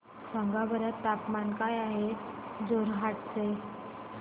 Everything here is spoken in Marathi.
सांगा बरं तापमान काय आहे जोरहाट चे